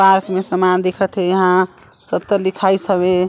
Park मे सामान दिखत हे इंहा सत्तर लिखाइस हवे।